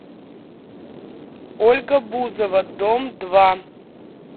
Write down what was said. ольга бузова дом два